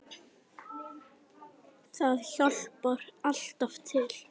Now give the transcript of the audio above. Það hjálpar alltaf til.